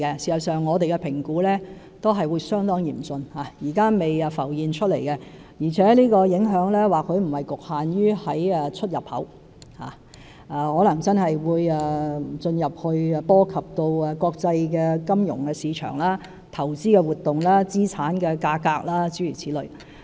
事實上，據我們評估，情況也是會相當嚴峻，現時尚未浮現，而且影響或許不局限於出入口，可能會進而波及國際金融市場、投資活動和資產價格，諸如此類。